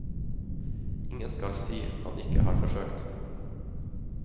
Ingen skal si han ikke har forsøkt.